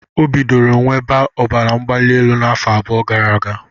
O bidoro nwebe ọbara mgbali elu afọ abụọ gara aga.